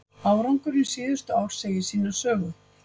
Árangurinn síðustu ár segir sína sögu.